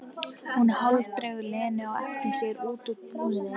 Hún hálfdregur Lenu á eftir sér út úr búðinni.